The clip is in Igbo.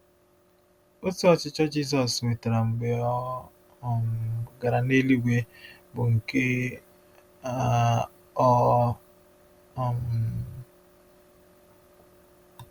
Otù ọchịchị Jizọs nwetara mgbe ọ um gara eluigwe bụ nke um ọ̀? um